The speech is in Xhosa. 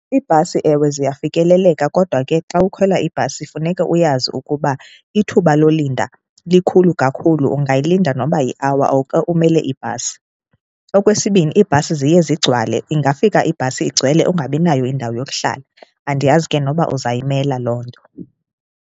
Ibhasi ewe ziyafikeleleka kodwa ke xa ukhwela ibhasi funeka uyazi ukuba ithuba lolinda likhulu kakhulu, ungayilinda noba yi-hour oko umele ibhasi. Okwesibini, iibhasi ziye zigcwale, ingafika ibhasi igcwele ungabinayo indawo yokuhlala, andiyazi ke noba uzayimela loo nto.